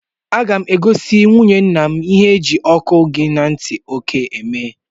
Aga mụ egosi nwụnye ńnà mụ ihe ọkụ gị ntị oke eme!!!